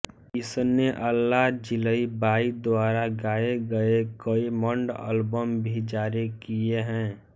इसने अल्लाह जिलई बाई द्वारा गाए गए कई मण्ड अल्बम भी जारी किए हैं